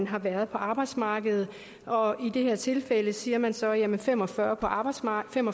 har været på arbejdsmarkedet i det her tilfælde siger man så at folk med fem og fyrre år på arbejdsmarkedet